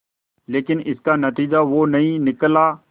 लेकिन इसका नतीजा वो नहीं निकला